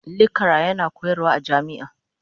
lekcara yana koyarwa a jami'a.